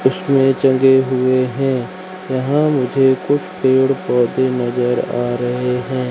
इसमें जले हुए हैं यहां मुझे कुछ पेड़ पौधे नजर आ रहे हैं।